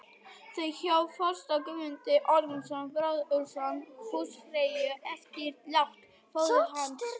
Þau hjón fóstra Guðmund Ormsson, bróðurson húsfreyju, eftir lát föður hans.